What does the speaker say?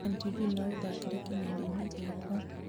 ĩkĩra n.t.v na ũthaakĩre kĩnanda-inĩ gĩakwa